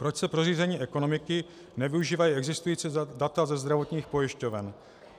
Proč se pro řízení ekonomiky nevyužívají existující data ze zdravotních pojišťoven?